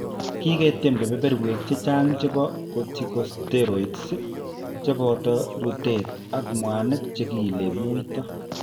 Kiketiem kebeberwek chechang' chebo corticosteroids, che boto rutet ak mwanik che kiile muito.